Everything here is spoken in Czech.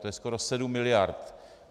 To je skoro 7 miliard.